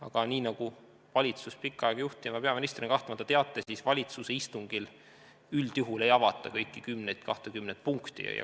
Aga nagu te valitsust pikka aega juhtinud peaministrina kahtlemata teate, siis valitsuse istungil üldjuhul ei avata kõiki kümmet või kahtekümmet punkti.